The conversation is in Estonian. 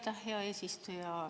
Aitäh, hea eesistuja!